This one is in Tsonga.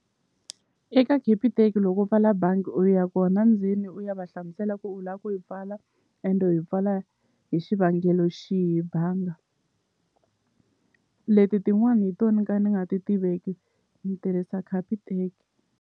Eka Capitec loko u pfala bangi u ya kona ndzeni u ya va hlamusela ku u la ku yi pfala ende u yi pfala hi xivangelo xihi banga leti tin'wani hi to ni ka ni nga ti tiveki ni tirhisa Capitec.